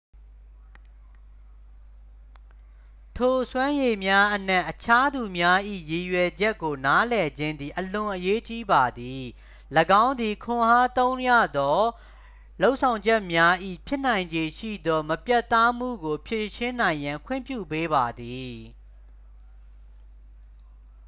ထိုစွမ်းရည်များအနက် အခြားသူများ၏ရည်ရွယ်ချက်ကိုနားလည်ခြင်းသည် အလွန်အရေးကြီးပါသည် ၎င်းသည် ခွန်အားသုံးရသော လုပ်ဆောင်ချက်များ၏ ဖြစ်နိုင်ခြေရှိသော မပြတ်သားမှုကို ဖြေရှင်းနိုင်ရန် ခွင့်ပြုပေးပါသည်